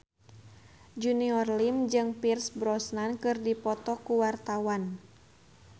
Junior Liem jeung Pierce Brosnan keur dipoto ku wartawan